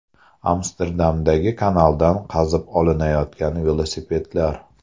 Amsterdamdagi kanaldan qazib olinayotgan velosipedlar.